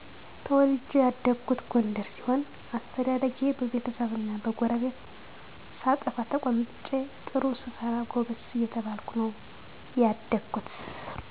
ተወልጄ ያደኩት ጎንደር ሲሆን አስተዳደጌ በቤተሰብና በጎረቤት ሳጠፋ ተቆንጥጨ ጥሩ ስሰራ ጎበዝ እየተባልኩ ነው ያደኩት